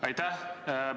Aitäh!